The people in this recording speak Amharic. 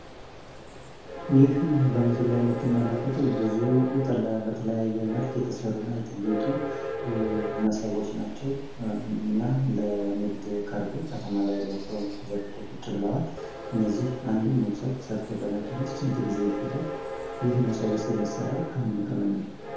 ይህ በምስሉ ላይ የምትመለከቱት ብዙ በተለያየ መልክ የተሰሩ እና የተጌጡ ሞሰቦች ናቸው እና ለንግድ ቀርበው ከተማ ላይ ወጠው ተዘርግተው ቁጭ ብለዋል። እደዚህ አንድን ሞሰብ ሰርተው ለመጨረስ ስንት ግዜ ይፈጃል? ይህ ሞሰብስ የሚሰራው ከምን ከምን ነው?